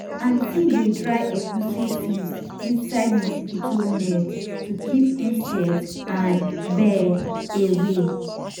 aunty dey dry egusi seeds inside mosquito net to keep insect and bird away.